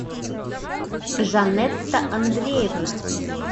жанетта андреевна